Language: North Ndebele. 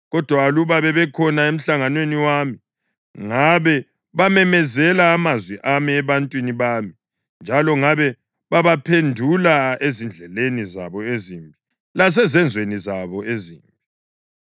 Kodwa aluba babekhona emhlanganweni wami, ngabe bamemezela amazwi ami ebantwini bami njalo ngabe babaphendula ezindleleni zabo ezimbi lasezenzweni zabo ezimbi.”